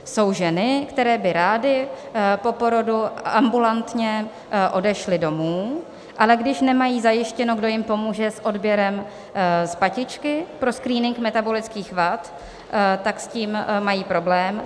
Jsou ženy, které by rády po porodu ambulantně odešly domů, ale když nemají zajištěno, kdo jim pomůže s odběrem z patičky pro screening metabolických vad, tak s tím mají problém.